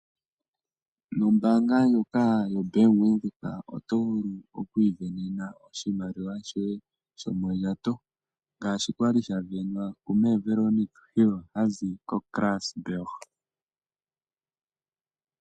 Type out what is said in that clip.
Nombaanga ndjoka yoBank Windhoek oto vulu oku isindanena oshimaliwa shoye shomondjato, ngashi kwali sha sindanwa kumee Veronica eli ha zi koKarasburg.